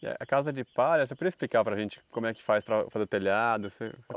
Já. A casa de palha, você poderia explicar para gente como é que faz para fazer o telhado assim?